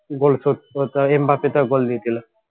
goal শোধ করতে হয় এম বাপে তো goal দিয়ে দিল